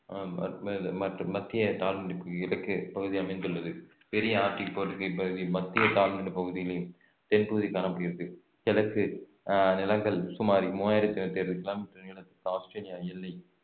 மற்றும் மத்திய பகுதி அமைந்துள்ளது பெரிய ஆற்றின் பகுதி மத்திய தாழ்நிலப் பகுதியிலே தென்பகுதி காணப்படுகிறது எதற்கு ஆஹ் நிலங்கள் சுமார் மூவாயிரத்து கிலோமீட்டர் நீளம் ஆஸ்திரேலியா எல்லை